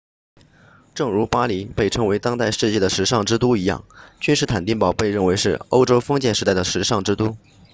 正如巴黎被称为当代世界的时尚之都一样君士坦丁堡被认为是欧洲封建时代的时尚之都